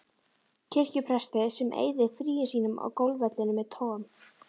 kirkjupresti sem eyðir fríum sínum á golfvellinum með Tom